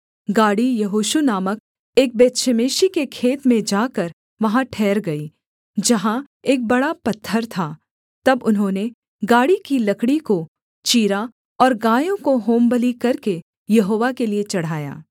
गाड़ी यहोशू नामक एक बेतशेमेशी के खेत में जाकर वहाँ ठहर गई जहाँ एक बड़ा पत्थर था तब उन्होंने गाड़ी की लकड़ी को चीरा और गायों को होमबलि करके यहोवा के लिये चढ़ाया